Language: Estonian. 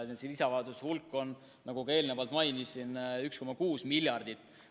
Nende lisataotluste summa on, nagu ka eelnevalt mainisin, 1,6 miljardit.